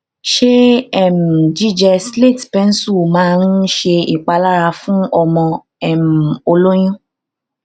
ṣé um jíjẹ slate pencil máa ń ṣèpalára fún ọmọ um o lóyún